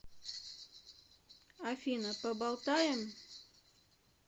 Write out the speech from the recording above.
афина поболтаем